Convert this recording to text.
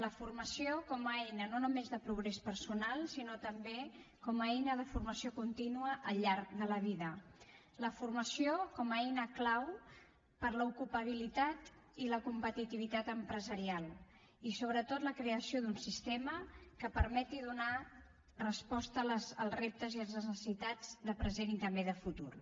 la formació com a eina no només de progrés personal sinó també com a eina de formació contínua al llarg de la vida la formació com a eina clau per l’ocupabilitat i la competitivitat empresarial i sobretot la creació d’un sistema que permeti donar resposta als reptes i a les necessitats de present i també de futur